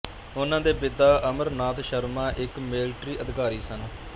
ਉਨ੍ਹਾਂ ਦੇ ਪਿਤਾ ਅਮਰ ਨਾਥ ਸ਼ਰਮਾ ਇੱਕ ਮਿਲਟਰੀ ਅਧਿਕਾਰੀ ਸਨ